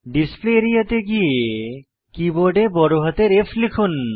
display area তে গিয়ে কীবোর্ডে বড়হাতের F লিখুন